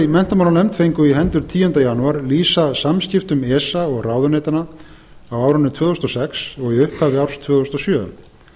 í menntamálanefnd fengu í hendur tíunda janúar lýsa samskiptum esa og ráðuneytanna á árinu tvö þúsund og sex og í upphafi árs tvö þúsund og sjö